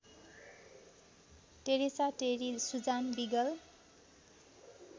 Teresa Terry Suzanne wiggle